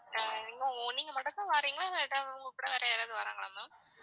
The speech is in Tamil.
அஹ் நீங்க மட்டும் தான் வர்றீங்களா இல்லை உங்ககூட வேற யாராவது வர்றாங்களா ma'am